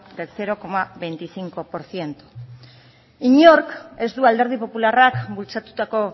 del cero coma veinticinco por ciento inork ez du alderdi popularrak bultzatutako